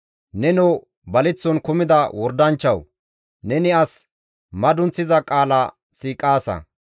Nenoo baleththon kumida wordanchchazoo! Neni as madunththiza qaala siiqaasa.